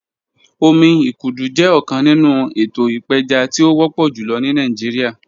Omi ikudu jẹ ọkan ninu eto ipeja ti o wọpọ julọ ni Nigeria